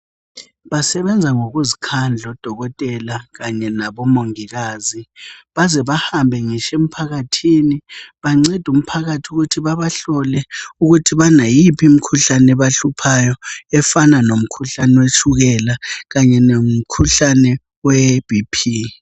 Basebenza ngokuzikhadla odokotela Kanye labo mongikazi baze bahambe ngitsho emphakathini bancende umphakathi ukuthi bahlole ukuthi banayiphi imikhuhlane ebahluphayo efana lomkhuhlane wetshukela Kanye lomkhuhlane we bp